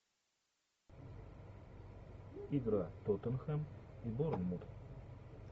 игра тоттенхэм борнмут